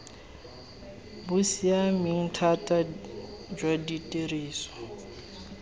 bo siameng thata jwa tiriso